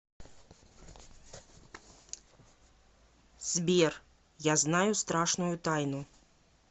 сбер я знаю страшную тайну